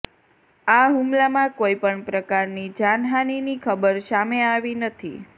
આ હુમલામાં કોઈ પણ પ્રકારની જાનહાનિની ખબર સામે આવી નથી